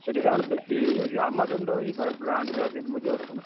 ସେଠି ତାଙ୍କର ବେଶୀ ଇଏ ହେଇଯାଉଛି। Amazon ଟା ଭାଇ brand ଯାହାବି ହେଲେ ବୁଝିପାରୁଛନା।